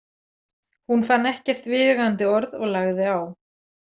Hún fann ekkert viðeigandi orð og lagði á.